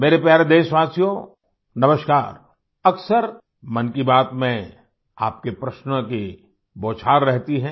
मेरे प्यारे देशवासियोनमस्कार अक्सरमन की बात में आपकेप्रश्नों की बौछार रहती है